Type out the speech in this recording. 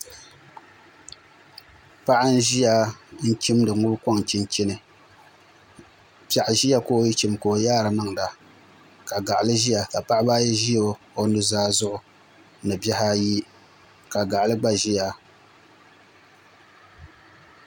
Paɣa n ʒiya n chimdi ŋubi koŋ chinchini piɛɣu ʒiya ka o yi chim la o yaari niŋda ka gaɣali ʒiya ka paɣaba ayi ʒi o nuzaa zuɣu ni bihi ayi ka gaɣali gba ʒiya